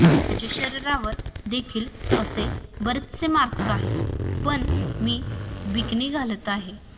माझ्या शरीरावर देखील असे बरेचसे मार्क्स आहे पण मी बिकिनी घालती आहे